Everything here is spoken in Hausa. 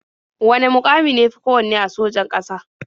Wane muƙami ne ya fi kowanne a sojan ƙasa?